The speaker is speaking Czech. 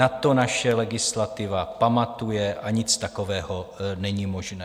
Na to naše legislativa pamatuje a nic takového není možné.